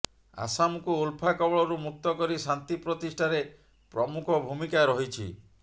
ଆସାମକୁ ଉଲଫା କବଳରୁ ମୁକ୍ତ କରି ଶାନ୍ତି ପ୍ରତିଷ୍ଠାରେ ପ୍ରମୁଖ ଭୂମିକା ରହିଛି